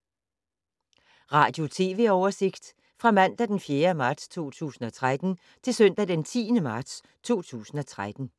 Radio/TV oversigt fra mandag d. 4. marts 2013 til søndag d. 10. marts 2013